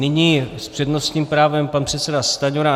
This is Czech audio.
Nyní s přednostním právem pan předseda Stanjura.